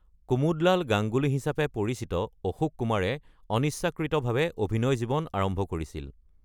কুমুদলাল গাঙ্গুলি হিচাপে পৰিচিত অশোক কুমাৰে অনিচ্ছাকৃতভাৱে অভিনয়ৰ জীৱন আৰম্ভ কৰিছিল।